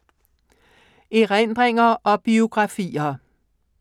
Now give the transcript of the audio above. Erindringer og biografier